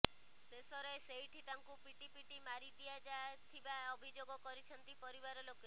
ଶେଷରେ ସେଇଠି ତାଙ୍କୁ ପିଟି ପିଟି ମାରି ଦିଆଯାଥିବା ଅଭିଯୋଗ କରିଛନ୍ତି ପରିବାର ଲୋକେ